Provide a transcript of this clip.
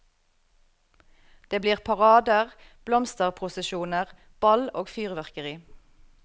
Det blir parader, blomsterprosesjoner, ball og fyrverkeri.